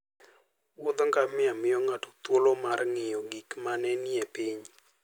Wuodh ngamia miyo ng'ato thuolo mar ng'iyo gik ma ne nie piny